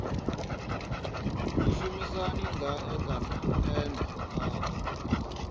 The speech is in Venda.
mushumisani ngae kana ene a